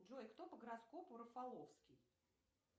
джой кто по гороскопу рафаловский